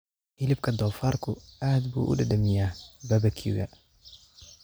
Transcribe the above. Hilibka doofaarku aad buu u dhadhamiyaa barbecue-ga.